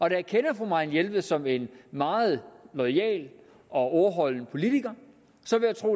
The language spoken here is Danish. jeg kender fru marianne jelved som en meget loyal og ordholdende politiker